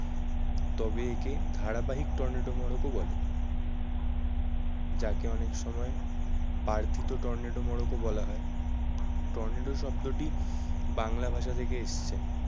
তবে একে ধারাবাহিক টর্নেডো মোড়কও বলে যাকে অনেক সময় বর্ধিত টর্নেডো মোড়ক ও বলা হয়। টর্নেডো শব্দটি বাংলা ভাষা থেকে এসছে।